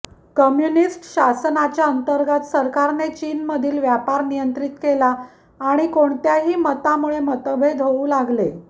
communist शासनाच्या अंतर्गत सरकारने चीनमधील व्यापार नियंत्रित केला आणि कोणत्याही मतामुळे मतभेद होऊ लागले